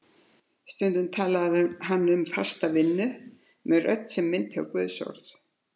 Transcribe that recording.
Stundum talaði hann um fasta vinnu með rödd sem minnti á guðsorð.